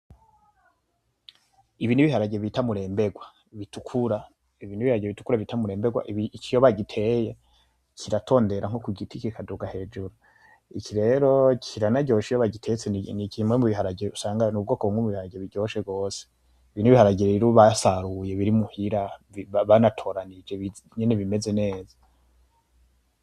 Ibi ni ibiharage bita muremberwa, bitukura. Iki iyo bagiteye kiratondera nko ku giti kikaduga hejuru. Iki rero kiranaryoshe iyo bagitetse ni mubwoko bw'ibiharage buryoshe gose. Ibi ni ibiharage basaruye batoranije nyene bimeze neza.